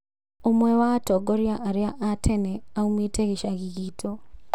Ũmwe wa atongoria anene a tene aumĩte gĩcagi gitũ